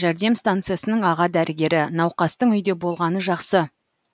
жәрдем станциясының аға дәрігері науқастың үйде болғаны жақсы